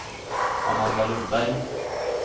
Amanda Lundberg